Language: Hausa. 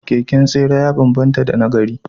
Keken tsere ya banbanta da na gari